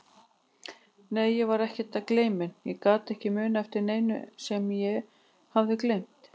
Nei, ég var ekkert gleyminn, ég gat ekki munað eftir neinu sem ég hafði gleymt.